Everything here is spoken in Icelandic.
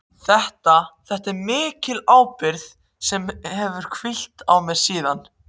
Þetta er mikil ábyrgð sem hefur hvílt á mér síðan.